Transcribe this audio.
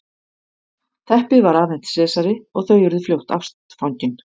teppið var afhent sesari og urðu þau fljótt ástfangin